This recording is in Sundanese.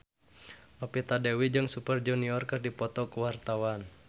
Novita Dewi jeung Super Junior keur dipoto ku wartawan